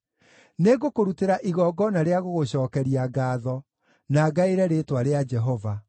Nĩngũkũrutĩra igongona rĩa gũgũcookeria ngaatho, na ngaĩre rĩĩtwa rĩa Jehova.